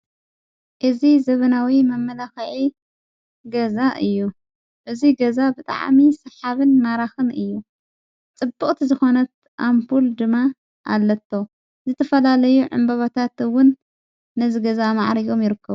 እዝ ዘበናዊ መመላኸዒ ገዛ እዩ እዙይ ገዛ ብጥዓሚ ሰሓብን ማራኽን እዩ ጽቡቕት ዝኾነት ኣምፑል ድማ ኣለቶ ዝተፈላለዩ ዕምበበታትውን ነዝ ገዛ መዓሪዮም ይርከብ ::